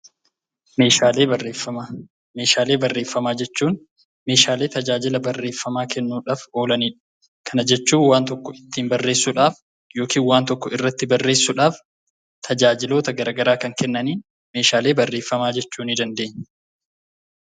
Meeshaalee Barreeffamaa: Meeshaalee barreeffamaa jechuun meeshaalee tajaajila barreeffamaa kennuudhaaf oolanii dha. Kana jechuun waan tokko ittiin barreessuudhaaf yookiin waan tokko irratti barreessuudhaaf tajaajiloota garagaraa kan kennaniin meeshaalee barreeffamaa jechuu ni dandeenya.